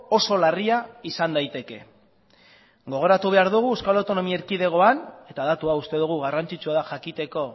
oso larria izan daiteke gogoratu behar dugu euskal autonomia erkidegoan eta datu hau uste dugu garrantzitsua da jakiteko